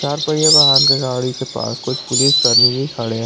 चार पहिये वाहन के गाड़ी के पास कुछ पुलिस कर्मी भी खड़े हैं।